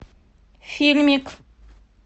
фильмик